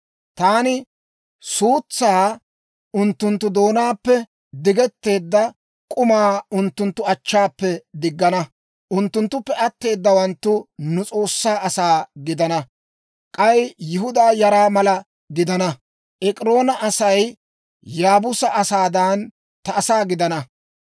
Taani suutsaa unttunttu doonaappe, diggetteedda k'umaa unttunttu achchaappe diggana. Unttunttuppe atteedawaanttu nu S'oossaa asaa gidana. K'ay Yihudaa yara mala gidana. Ek'iroona Asay Yaabuusa asaadan, ta asaa gidana.